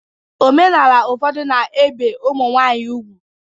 Omenala ụfọdụ na-ebi ụmụ nwanyị ugwu